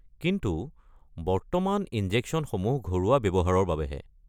কিন্তু, বৰ্তমান ইনজেকশ্যনসমূহ ঘৰুৱা ব্যৱহাৰৰ বাবেহে।